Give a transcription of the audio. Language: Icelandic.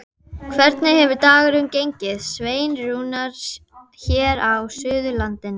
Hvernig hefur dagurinn gengið, Sveinn Rúnar, hér á Suðurlandinu?